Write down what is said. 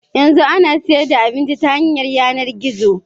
Yanzu ana siyan da abinci ta hanyar yanar gizo